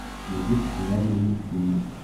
найди популярные мультфильмы